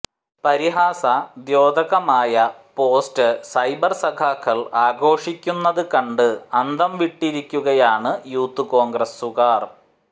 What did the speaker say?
പരിഹാസദ്യോതകമായ post cyber സഖാക്കൾ ആഘോഷിക്കുന്നത് കണ്ട് അന്തംവിട്ടിരിക്കുകയാണ് യൂത്ത് കോൺഗ്രസുകാർ